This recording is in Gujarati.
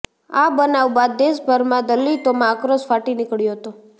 આ બનાવ બાદ દેશભરમાં દલિતોમાં આક્રોશ ફાટી નીકળ્યો હતો